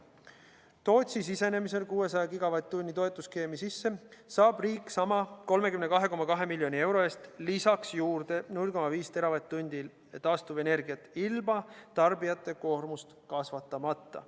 Tootsi sisenemisel 600 gigavatt-tunni toetusskeemi sisse saab riik sellesama 32,2 miljoni euro eest lisaks juurde 0,5 teravatt-tundi taastuvenergiat ilma tarbijate koormust kasvatamata.